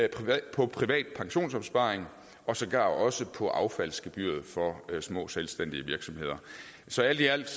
på privat pensionsopsparing og sågar også på affaldsgebyret for små selvstændige virksomheder så alt i alt